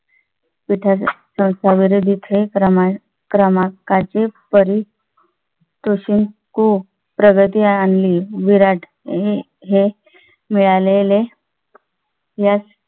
पिठाचा येते क्रमाने क्रमांकाचे परी तोषक करून प्रगती आणली विराणी हे मिळालेले यश